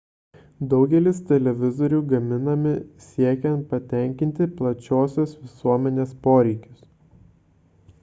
daugelis televizorių gaminami siekiant patenkinti plačiosios visuomenės poreikius